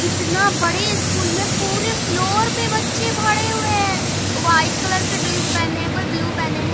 इतना बड़े स्कूल मे पूरे फ्लोर पे बच्चे भरे हुए है व्हाइट कलर के ड्रेस पहने हुए हैं कोई ब्लू पहने है।